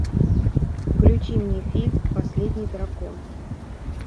включи мне фильм последний дракон